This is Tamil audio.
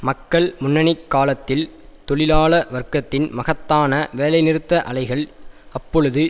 மக்கள் முன்னணி காலத்தில் தொழிலாள வர்க்கத்தின் மகத்தான வேலைநிறுத்த அலைகள் அப்பொழுது